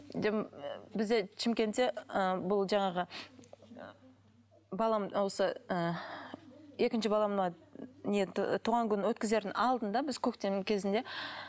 бізде шымкентте ы бұл жаңағы балам осы ы екінші балама не туған күнін өткізердің алдында біз көктемнің кезінде